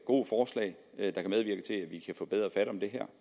gode forslag der kan medvirke til at vi kan få bedre fat om det her